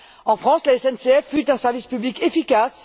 En France, la SNCF fut un service public efficace.